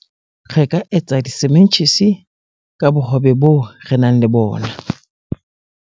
re ka etsa disementjhisi ka bohobe boo re nang le bona